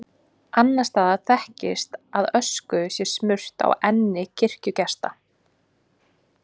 Annars staðar þekkist að ösku sé smurt á enni kirkjugesta.